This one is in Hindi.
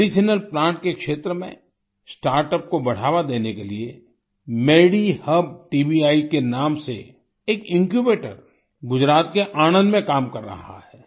मेडिसिनल प्लांट के क्षेत्र में स्टार्टअप को बढ़ावा देने के लिए मेडीहब टीबीआई के नाम से एक इन्क्यूबेटर गुजरात के आनन्द में काम कर रहा है